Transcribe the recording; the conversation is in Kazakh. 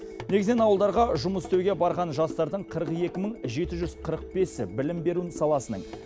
негізінен ауылдарға жұмыс істеуге барған жастардың қырық екі мың жеті жүз қырық бесі білім беру саласының